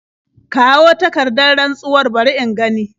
Kawo takardar rantsuwar bari in gani.